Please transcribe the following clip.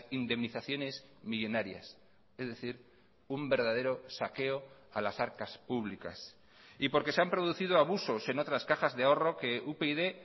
indemnizaciones millónarias es decir un verdadero saqueo a las arcas públicas y porque se han producido abusos en otras cajas de ahorro que upyd